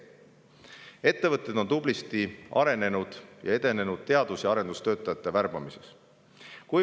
Ettevõtted on tublisti arenenud ja edenenud teadus- ja arendustöötajate värbamiseks.